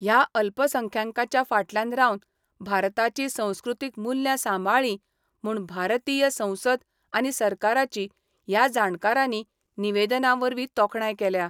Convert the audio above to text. ह्या अल्पसंख्यांकाच्या फाटल्यान रावन भारताची संस्कृतीक मुल्यां सांबाळली म्हुण भारतीय संसद आनी सरकाराची ह्या जाणकारानी निवेदनावरवी तोखणाय केल्या.